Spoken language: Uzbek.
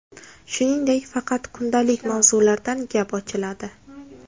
Shuningdek, faqat kundalik mavzulardan gap ochiladi.